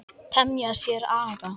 Temja sér aga.